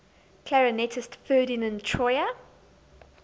clarinetist ferdinand troyer